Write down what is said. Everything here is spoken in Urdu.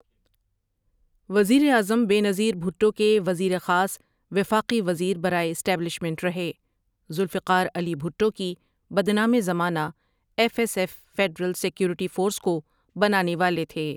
وزیر اعظم بے نظیر بھٹو کے وزیر خاص وفاقی وزیر برائے اسٹیبلشمنٹ رہے ذوالفقار علی بھٹو کی بدنام زمانہ F S F federal security force کو بنانے والے تھے ۔